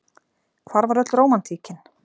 Hvar var öll rómantíkin?